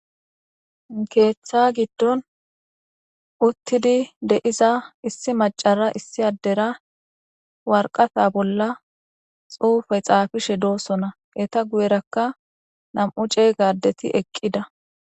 Keththa giddoni utidi deiza issi adera issi maccara waraqata bola xufe xaafishe dosona eyita guyerakka namu cega ade dayit eqida